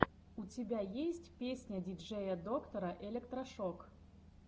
у тебя есть песня диджея доктора электрошок